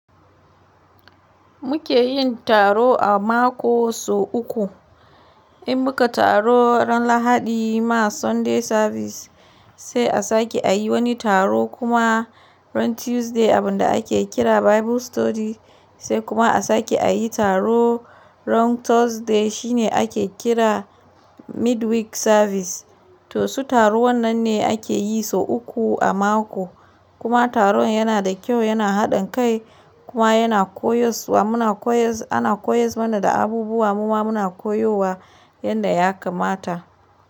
Mu ke yin taro a mako sau uku. In mu ka taro ran Lahadi ma Sunday service, sai a sake a yi wani taro kuma ran Tuesday abin da ake kira Bible study sai kuma a sake a yi taro ran Thursday shine ake kira midweek service. To su taru wannan ne ake yi sau uku a mako. Kuma taron yana da kyau, yana haɗin kai kuma yana koyaswa muna koyas ana koyas mana da abubuwa muma muna koyowa yadda ya kamata.